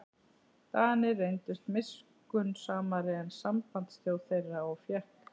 Danir reyndust miskunnsamari en sambandsþjóð þeirra og fékk